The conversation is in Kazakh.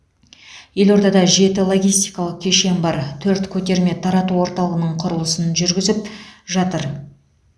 елордада жеті логистикалық кешен бар төрт көтерме тарату орталығының құрылысын жүргізіп жатыр